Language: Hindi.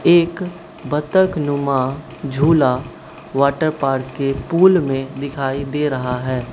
एक बत्तख नुमा झूला वाटर पार्क के पूल में दिखाई दे रहा है।